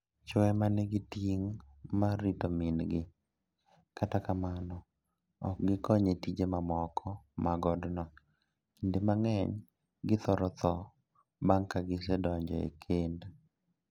Chwo e ma nigi ting' mar rito min-gi, kata kamano, ok gikony e tije mamoko mag odno. Kinde mang'eny, githoro tho bang' ka gisedonjo e kend.